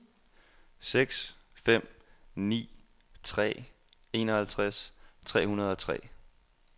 seks fem ni tre enoghalvtreds tre hundrede og tre